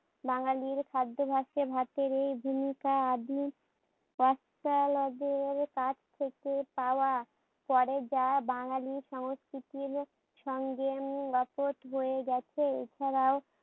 বাঙালির খ্যাদ্যাভ্যাসে ভাতের এই অষ্ট্রালবের কাছ থেকে পাওয়া পড়ে যাওয়া বাঙালি সংস্কৃতির সঙ্গে উম বয়ে গেছে এছাড়াও